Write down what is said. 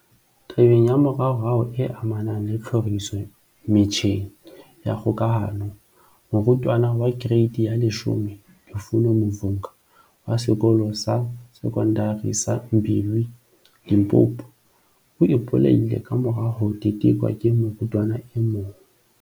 Tabeng ya moraorao e amanang le tlhoriso metjheng ya kgokahano, morutwana wa Kereiti ya 10 Lufuno Mavhunga, wa Sekolo sa Se kondari sa Mbilwi, Limpopo, o ipolaile kamora ho tetekwa ke morutwana e mong.